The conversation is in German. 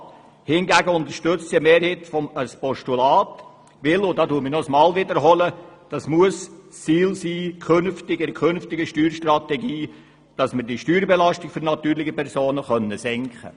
Hingegen unterstützt eine Mehrheit ein Postulat, weil – und ich wiederhole mich noch einmal – es ein Ziel der künftigen Steuerstrategie sein muss, die Steuerbelastung für natürliche Personen zu senken.